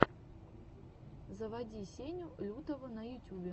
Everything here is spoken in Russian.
заводи сеню лютого на ютюбе